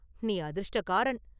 நீ அதிர்ஷ்டக்காரன்.